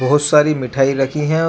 बहुत सारी मिठाई रखी है और--